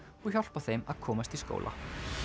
og hjálpa þeim að komast í skóla